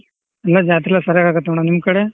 ಎಲ್ಲಾ ಜಾತ್ರಿ ಎಲ್ಲಾ ಸರಿಯಾಗಾಗುತ್ತ್ madam ನಿಮ್ ಕಡೆ.